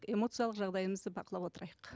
эмоциялық жағдайымызды бақылап отырайық